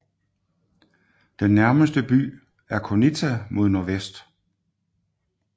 Den nærmeste by er Konitsa mod nordvest